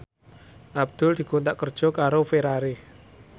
Abdul dikontrak kerja karo Ferrari